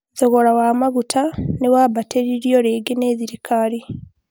thogora wa maguta nĩ wambatĩrĩirio rĩngĩ nĩ thirikari